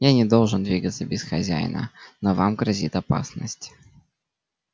я не должен двигаться без хозяина но вам грозит опасность